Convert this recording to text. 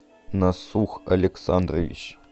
насух александрович